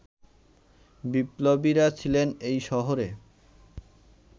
বিপ্লবীরা ছিলেন এই শহরে